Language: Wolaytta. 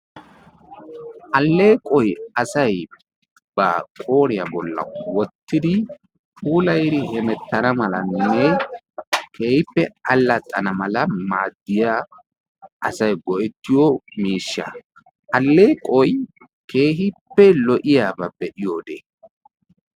Alleeqoy asaay ba qooriyaa bollan woottidi puullayidi hemettana malanne keehippe allaxxana mala maadiyaa miishsha. alleeqoy keehippe lo"iyaaba be'iyoode.